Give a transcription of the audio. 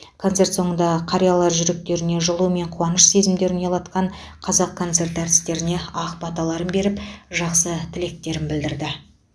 концерт соңында қариялар жүректеріне жылу мен қуаныш сезімдерін ұялатқан қазақконцерт артистеріне ақ баталарын беріп жақсы тілектерін білдірді